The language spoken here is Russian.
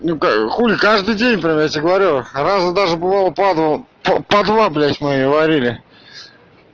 хули каждый день провести говорю раза даже бывает падла падла блять мы говорили